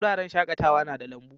Wuraren shakatawa na da lambu.